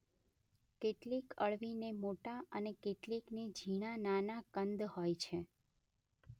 કેટલીક અળવીને મોટા અને કેટલીકને ઝીણા-નાના કંદ હોય છે